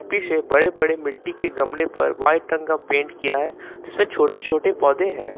पीछे बड़े बड़े मिट्टी के गमले पर व्हाइट रंग का पेंट किया है जिसमें छोटे छोटे पौधे हैं।